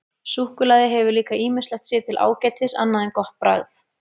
Súkkulaði hefur líka ýmislegt sér til ágætis annað en gott bragð.